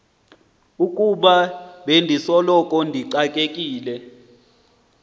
ukuba bendisoloko ndixakekile